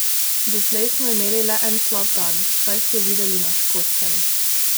Doslej smo imeli le en slab dan, saj ste videli na Škotskem.